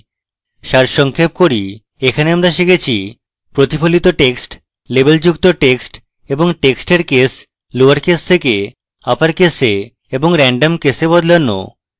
সারসংক্ষেপ করি এখানে আমরা শিখেছি : প্রতিফলিত টেক্সট লেবেলযুক্ত টেক্সট এবং টেক্সটের কেস lowercase থেকে uppercase এবং randomcase we বদলানো